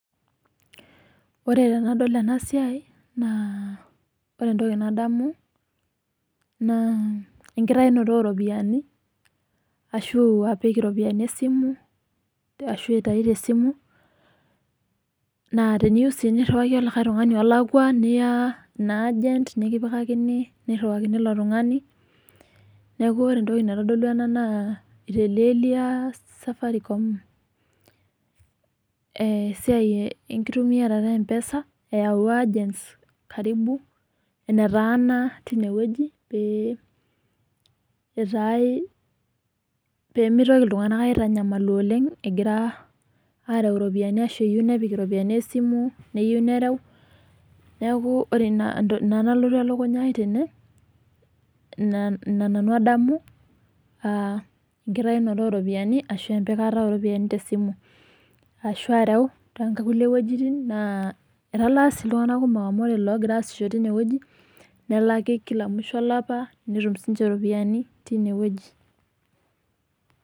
Ore tenadol ena siai naa, ore etoki nadamu naa, ekitayunoto oo ropiyani ashu apik iropiyani esimu ashu aitayu te simu naa teneyieu sii niriwaki olikae tung'ani olakua niya ina agent nikipikakini niriwaakini ilo tung'ani. Neaku ore etoki naitodolu ena naa itelelia safaricom eh siai ekitumiata empesa eyau agents karibu netaana tine wueji pee itae pee mitoki iltunganak aitanyamalu oleng egira areu iropiyani ashu, eyieu nepik iropiyani esimu neyieu nerueu. Neaku ina nalotu elukunya ai tene ina nanu adamu ah ekitayunoto oo ropiyani ashu, epikata oo ropiyani tesimu ashu, areu too kulie wuejitin naa etaala si iltunganak kumok amu ore logira asisho tine wueji nelaki kila mwisho olapa netum sininche iropiyani tine wueji.